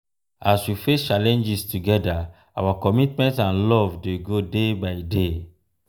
as we face challenges together our commitment and love dey grow day by day.